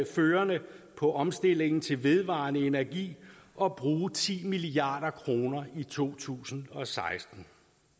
førende på omstillingen til vedvarende energi og bruge ti milliard kroner i to tusind og seksten